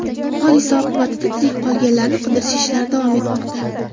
Hodisa oqibatida tirik qolganlarni qidirish ishlari davom etmoqda.